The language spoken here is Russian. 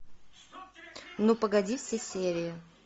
ну погоди все серии